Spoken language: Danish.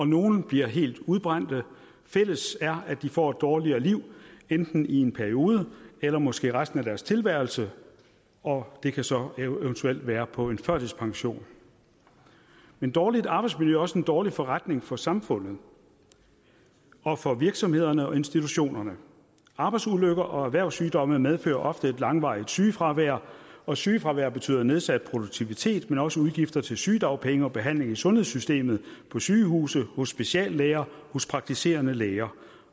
nogle bliver helt udbrændte fælles er at de får et dårligere liv enten i en periode eller måske resten af deres tilværelse og det kan så eventuelt være på en førtidspension men dårligt arbejdsmiljø er også en dårlig forretning for samfundet og for virksomhederne og institutionerne arbejdsulykker og erhvervssygdomme medfører ofte et langvarigt sygefravær og sygefravær betyder nedsat produktivitet men også udgifter til sygedagpenge og behandling i sundhedssystemet på sygehuse hos speciallæger hos praktiserende læger